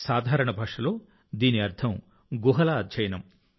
సాధారణ భాషలో దీని అర్థం గుహల అధ్యయనం